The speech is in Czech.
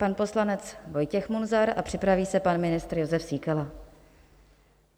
Pan poslanec Vojtěch Munzar a připraví se pan ministr Jozef Síkela.